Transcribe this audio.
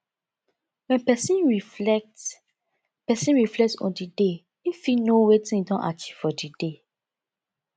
when person reflect person reflect on di day im fit know wetin im don achieve for di day